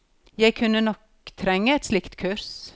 Jeg kunne nok trenge et slikt kurs.